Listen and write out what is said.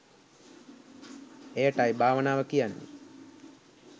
එයටයි භාවනාව කියන්නේ.